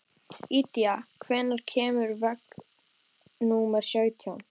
Ída, hvenær kemur vagn númer sautján?